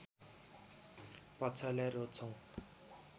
पक्षलाई रोज्छौ